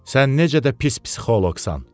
Sən necə də pis psixoloqsan!